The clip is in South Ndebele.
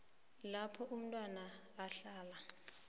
lapho umntwana ahlala